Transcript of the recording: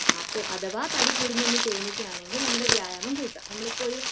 അപ്പോ അഥവാ തടി കൂടുന്നു എന്ന് തോന്നുകയാണെങ്കിൽ നമ്മുടെ വ്യായാമം കൂട്ടണം. നമ്മളിപ്പോ ഒരു